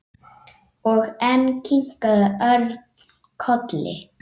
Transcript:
Og enn kinkaði Örn kolli.